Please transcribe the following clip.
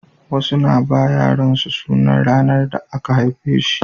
Wasu na ba yaran su sunan ranar da aka haife shi